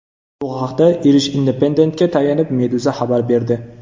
Bu haqda Irish Independent’ga tayanib Meduza xabar berdi .